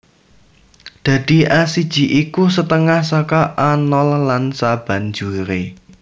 Dadi A siji iku setengah saka A nol lan sabanjuré